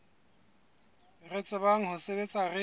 re tsebang ho sebetsa re